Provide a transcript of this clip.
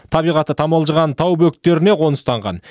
табиғаты тамылжыған тау бөктеріне қоныстанған